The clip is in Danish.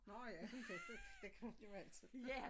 Nå ja det rigtig det kan man jo altid gøre